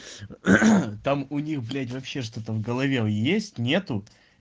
там у них блять вообще что-то в голове есть нету